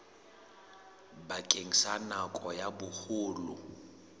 bakeng sa nako ya boholo